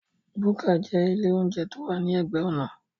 Búkà jẹ́ ilé óúnjẹ tí ó wà ní ẹ̀gbẹ́ ọ̀nà